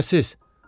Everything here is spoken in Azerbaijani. Şübhəsiz.